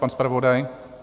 Pan zpravodaj?